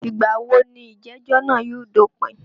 Ìgbà wo ní ìjẹ̀jọ́ náà yóò dópìn?